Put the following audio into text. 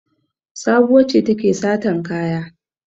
Sabuwa ce take satan kaya.